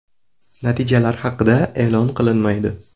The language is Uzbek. Natijalar haqida e’lon qilinmaydi.